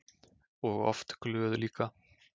Og oft glöð líka.